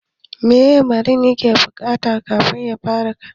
Meye marini yake buƙata kafin yafara rini?